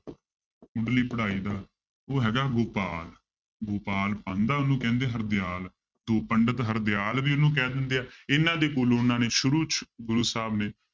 ਮੁਢਲੀ ਪੜ੍ਹਾਈ ਦਾ ਉਹ ਹੈਗਾ ਗੋਪਾਲ ਗੋਪਾਲ ਪਾਂਧਾ ਉਹਨੂੰ ਕਹਿੰਦੇ ਹਰਦਿਆਲ ਤੋਂ ਪੰਡਿਤ ਹਰਦਿਆਲ ਵੀ ਉਹਨੂੰ ਕਹਿ ਦਿੰਦੇ ਆ, ਇਹਨਾਂ ਦੇ ਗੁਣ ਉਹਨਾਂ ਨੇ ਸ਼ੁਰੂ 'ਚ ਗੁਰੂ ਸਾਹਿਬ ਨੇ